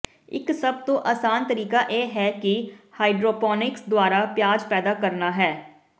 ਇਕ ਸਭ ਤੋਂ ਆਸਾਨ ਤਰੀਕਾ ਇਹ ਹੈ ਕਿ ਹਾਈਡਰੋਪੋਨਿਕਸ ਦੁਆਰਾ ਪਿਆਜ਼ ਪੈਦਾ ਕਰਨਾ ਹੈ